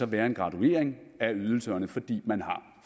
være en graduering af ydelserne fordi man har